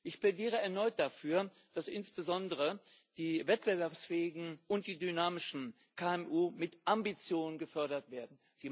Ich plädiere erneut dafür, dass insbesondere die wettbewerbsfähigen und die dynamischen KMU mit Ambition gefördert werden.